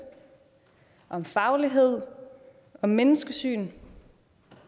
om faglighed og om menneskesyn